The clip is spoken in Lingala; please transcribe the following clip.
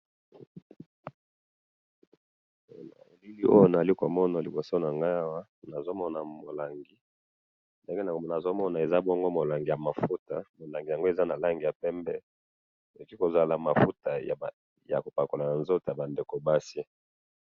na bilili oyo nazali komona liboso nangai awa nazomona molangi, ndenge ya molangi nazomona, eza bongo molangi ya mafuta, molangi yango eza na rangi ya pembe, eti kozala mafuta ya kopakala na nzoto yaba ndeko ya basi